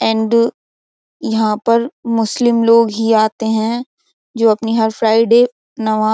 and यहां पर मुस्लिम लोग ही आते हैं जो अपनी हर फ्राइडे नमा --